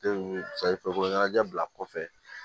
ɲɛnajɛ bila kɔfɛ